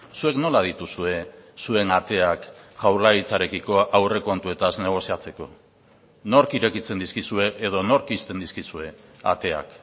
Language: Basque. zuek nola dituzue zuen ateak jaurlaritzarekiko aurrekontuetaz negoziatzeko nork irekitzen dizkizue edo nork ixten dizkizue ateak